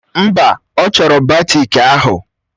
Mba, ọ chọrọ batiki ahụ.